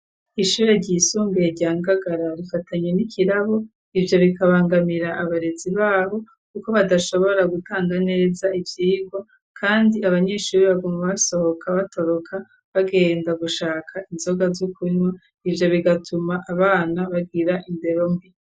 Ishure ryisumbuye rya Ngagara rifatanye n'ikirabu ivyo bikabangamira abarezi babo kuko badashobora gutanga neza ivyirwa kandi abanyeshuri baguma basohoka batoroka bagenda gushaka inzoga z'ukunwa ivyo bigatuma abana bagira indero mbi.